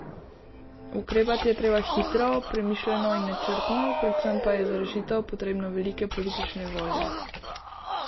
Ukrepati je treba hitro, premišljeno in načrtno, predvsem pa je za rešitev potrebno veliko politične volje.